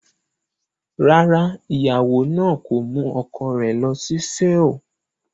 Rárá, ìyàwó náà kò mú ọkọ rẹ̀ lọ sí Seoul.